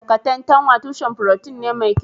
Katantanwa tushen furotin ne mai kyau